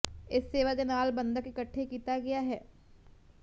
ਇਸ ਸੇਵਾ ਦੇ ਨਾਲ ਬੰਧਕ ਇਕੱਠੇ ਕੀਤਾ ਗਿਆ ਹੈ